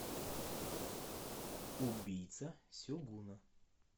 убийца сегуна